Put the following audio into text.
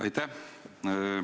Aitäh!